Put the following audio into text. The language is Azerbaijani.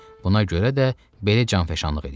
Buna görə də belə canfəşanlıq eləyirdi.